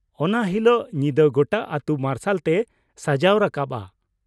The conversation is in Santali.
ᱚᱱᱟ ᱦᱤᱞᱳᱜ ᱧᱤᱫᱟᱹ ᱜᱚᱴᱟ ᱟᱹᱛᱩ ᱢᱟᱨᱥᱟᱞ ᱛᱮ ᱥᱟᱡᱟᱣ ᱨᱟᱠᱟᱵᱼᱟ ᱾